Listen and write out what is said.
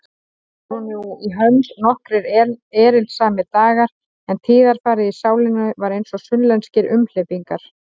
Fóru nú í hönd nokkrir erilsamir dagar, en tíðarfarið í sálinni var einsog sunnlenskir umhleypingar.